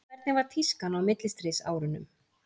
hvernig var tískan á millistríðsárunum